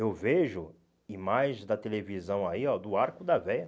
Eu vejo imagens da televisão aí, ó, do arco da véia.